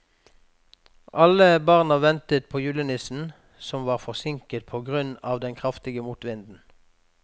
Alle barna ventet på julenissen, som var forsinket på grunn av den kraftige motvinden.